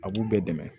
A b'u bɛɛ dɛmɛ